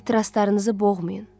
Ehtiraslarınızı boğmayın.